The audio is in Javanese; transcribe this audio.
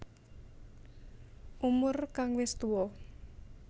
Umur kang wis tuwa